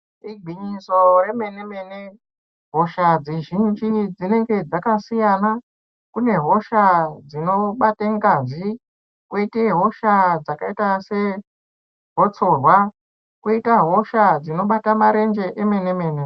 Igwinyiso remene-mene hosha dzizhinji dzinenge dzakasiyana. Kune hosha dzinobate ngazi, koita hosha dzakaita segotsorwa. Koita hosha dzinobata marenje emene-mene.